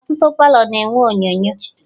Ọtụtụ Palọ na-enwe onyonyo